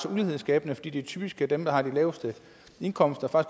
ulighedsskabende fordi det typisk er dem der har de laveste indkomster og